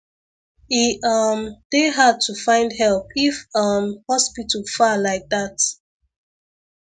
e um dey hard to find help if um hospital far like that